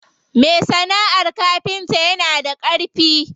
Me sana'ar kafinta yana da ƙarfi.